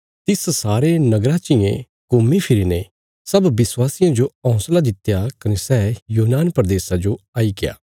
तिस सारे नगरा चियें घुम्मी फिरीने सब विश्वासियां जो हौंसला दित्या कने सै यूनान प्रदेशा जो आईग्या